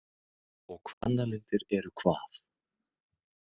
Og Hvannalindir eru hvað?